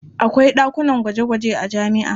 Akwai ɗakunan gwaje-gwaje a jami'a.